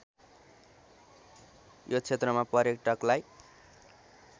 यो क्षेत्रमा पर्यटकलाई